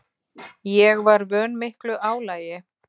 Ég var vön miklu álagi.